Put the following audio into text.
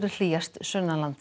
hlýjast